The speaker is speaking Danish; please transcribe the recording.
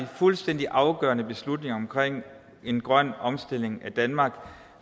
fuldstændig afgørende beslutninger omkring en grøn omstilling af danmark